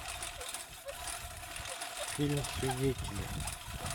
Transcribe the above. фильм свидетели